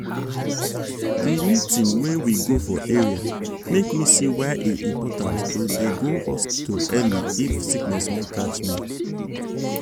the eeting wey we go for area make me see why e important to dey go hospital early if sickness wan catch me.